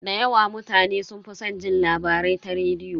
Da yawa mutane sun fi san jin labarai ta rediyo.